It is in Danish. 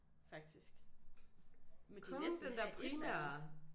Faktisk men de er næsten have et eller andet